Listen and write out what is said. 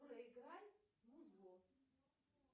проиграй музло